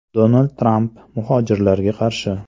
Donald Tramp muhojirlarga qarshi.